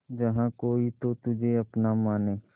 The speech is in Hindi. जहा कोई तो तुझे अपना माने